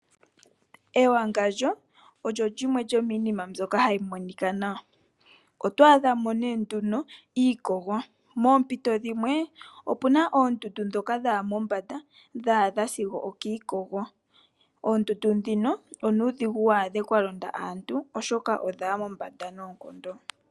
Ewangandjo olyo lyimwe lyomiinima mbyoka hayi monika nawa. Otwaadha mo nee nduno iikogo. Moompito dhimwe, opuna oondudu ndhoka dhaya mombanda, dha adha sigo okiikogo. Oondudu ndhino onuudhigu waadhe kwa londa aantu oshoka odhaya mombanda noonkondo.